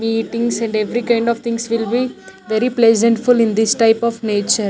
meetings and every kind of things will be very pleasantful in this type of nature.